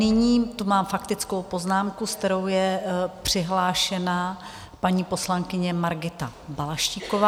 Nyní tu mám faktickou poznámku, se kterou je přihlášena paní poslankyně Margita Balaštíková.